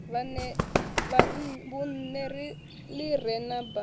vhunṋe ḽi re na baa